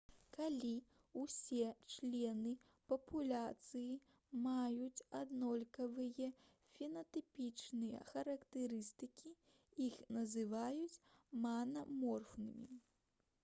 калі ўсе члены папуляцыі маюць аднолькавыя фенатыпічныя характарыстыкі іх называюць манаморфнымі